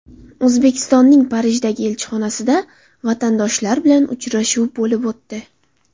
O‘zbekistonning Parijdagi elchixonasida vatandoshlar bilan uchrashuv bo‘lib o‘tdi.